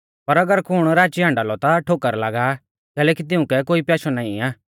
पर अगर कुण राची हाण्डा लौ ता ठोकर लागा आ कैलैकि तिउंकै कोई प्याशौ नाईं आ